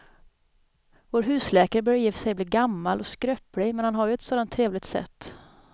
Vår husläkare börjar i och för sig bli gammal och skröplig, men han har ju ett sådant trevligt sätt!